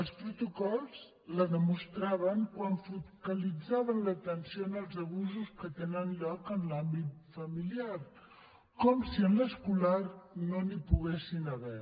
els protocols ho demostraven quan focalitzaven l’atenció en els abusos que tenen lloc en l’àmbit familiar com si en l’escolar no n’hi poguessin haver